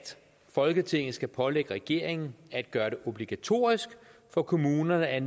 folketinget skal pålægge regeringen at gøre det obligatorisk for kommunerne at